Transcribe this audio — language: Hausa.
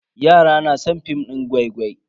Yara na san film din gwai-gwai.